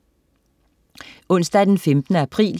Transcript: Onsdag den 15. april